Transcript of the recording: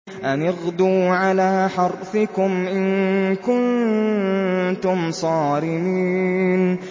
أَنِ اغْدُوا عَلَىٰ حَرْثِكُمْ إِن كُنتُمْ صَارِمِينَ